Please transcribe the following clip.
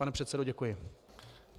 Pane předsedo, děkuji.